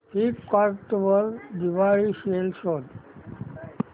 Flipkart वर Diwali sale शोधा